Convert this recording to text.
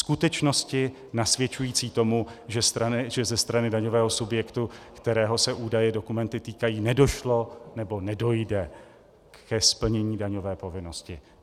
Skutečnosti nasvědčující tomu, že ze strany daňového subjektu, kterého se údaje, dokumenty týkají, nedošlo nebo nedojde ke splnění daňové povinnosti.